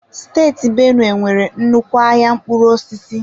Steeti Benue nwere nnukwu ahịa mkpụrụ osisi.